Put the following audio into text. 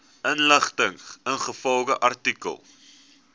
inligting ingevolge artikel